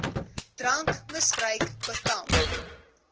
drankmis bruik bekamp